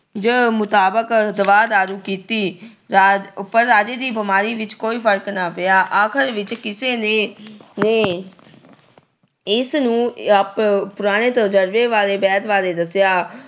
ਮੁਤਾਬਕ ਦਵਾ ਦਾਰੂ ਕੀਤੀ ਪਰ ਰ ਅਹ ਰਾਜੇ ਦੀ ਬੀਮਾਰੀ ਵਿੱਚ ਕੋਈ ਫਰਕ ਨਾ ਪਿਆ। ਆਖਰ ਚ ਕਿਸੇ ਨੇ ਅਹ ਨੇ ਉਨ੍ਹਾਂ ਨੂੰ ਪੁਰਾਣੇ ਤਜਰਬੇ ਵਾਲੇ ਵੈਦ ਬਾਰੇ ਦੱਸਿਆ।